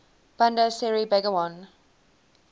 bandar seri begawan